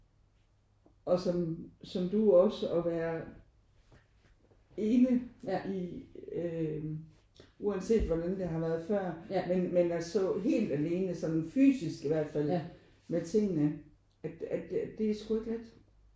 Og som som du også at være ene i øh uanset hvordan det har været før men men at stå helt alene sådan fysisk i hvert fald med tingene at at det er sgu ikke let